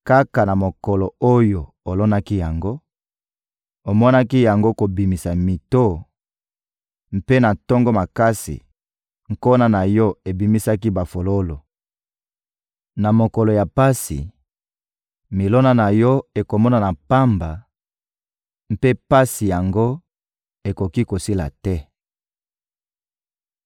Kaka na mokolo oyo olonaki yango, omonaki yango kobimisa mito; mpe na tongo makasi, nkona na yo ebimisaki bafololo. Na mokolo ya pasi, milona na yo ekomonana pamba, mpe pasi yango ekoki kosila te.